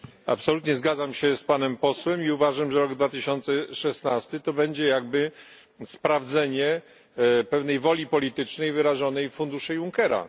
Absolutnie zgadzam się z panem posłem i uważam, że rok 2016 będzie jakby sprawdzeniem pewnej woli politycznej, wyrażonej funduszem Junckera.